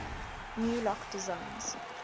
new lock designs